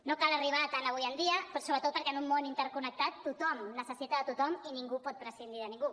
no cal arribar a tant avui dia però sobretot perquè en un món interconnectat tothom necessita tothom i ningú pot prescindir de ningú